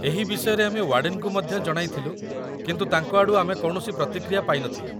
ଏହି ବିଷୟରେ ଆମେ ୱାର୍ଡେନ୍‌ଙ୍କୁ ମଧ୍ୟ ଜଣାଇଥିଲୁ କିନ୍ତୁ ତାଙ୍କ ଆଡ଼ୁ ଆମେ କୌଣସି ପ୍ରତିକ୍ରିୟା ପାଇନଥିଲୁ